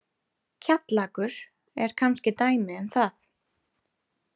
Kjallakur er kannski dæmi um það.